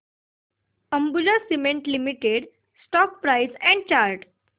Ambuja cement limited stock price and chart